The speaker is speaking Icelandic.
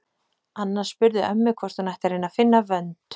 Anna spurði ömmu hvort hún ætti að reyna að finna vönd.